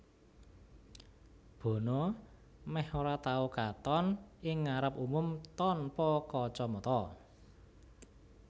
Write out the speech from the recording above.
Bono mèh ora tau katon ing ngarep umum tanpa kacamata